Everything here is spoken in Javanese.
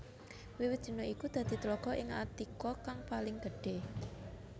Wiwit dina iku dadi tlaga ing Attika kang paling gedhé